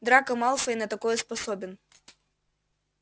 драко малфой на такое способен